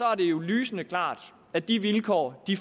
er det jo lysende klart at de vilkår i